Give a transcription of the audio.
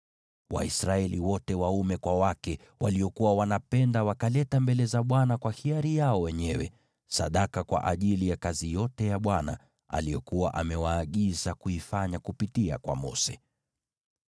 Waisraeli wote waume kwa wake waliokuwa wanapenda wakaleta mbele za Bwana kwa hiari yao wenyewe sadaka kwa ajili ya kazi yote ya Bwana aliyokuwa amewaagiza kuifanya kupitia kwa Mose.